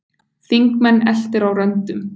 Þingmenn eltir á röndum